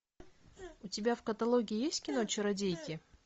у тебя в каталоге есть кино чародейки